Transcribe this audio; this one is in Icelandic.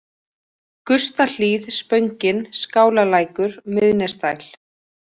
Gustahlíð, Spöngin, Skálalækur, Miðnesdæl